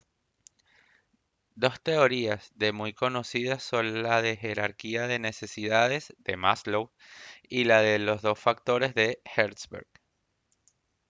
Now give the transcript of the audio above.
dos teorías de muy conocidas son la de la jerarquía de necesidades de maslow y la de los dos factores de hertzberg